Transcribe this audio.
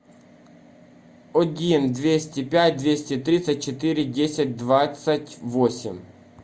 один двести пять двести тридцать четыре десять двадцать восемь